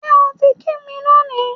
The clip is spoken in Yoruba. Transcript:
Ṣé o ti kí mi lónìí?